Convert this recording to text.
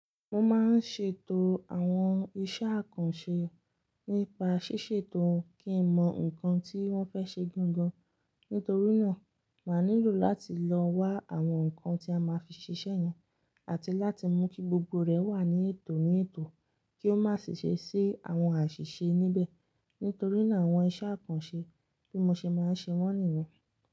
Mo máa ń ṣètò àwọn iṣẹ́ àkànṣe nípa ṣíṣètò kí n mọ nǹkan tí wọ́n fẹ́ ṣe gangan. Nítorí náà, màá nílò láti lọ wá àwọn nǹkan tí a máa fi ṣiṣẹ́ yẹn àti láti mú kí gbogbo rẹ̀ wà ní ètò ní ètò kí ó má sì ṣe sí àwọn àṣìṣe níbẹ̀. Nítorí náà àwọn iṣẹ́ àkànṣe bí mo ṣe máa ń ṣe wọ́n nìyẹn.